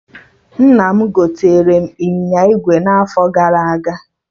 Nna m gotere m ịnyịnya ígwè n'afọ gara aga